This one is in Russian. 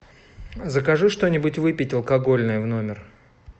закажи что нибудь выпить алкогольное в номер